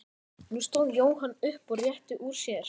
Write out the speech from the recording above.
Nú stóð Jóhann upp og rétti úr sér.